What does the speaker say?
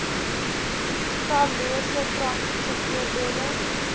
tallose praktiese voorbeelde